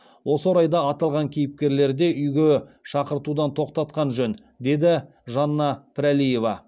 осы орайда аталған кейіпкерлерде үйге шақыртудан тоқтатқан жөн деді жанна пірәлиева